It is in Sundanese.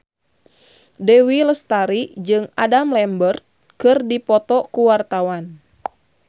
Dewi Lestari jeung Adam Lambert keur dipoto ku wartawan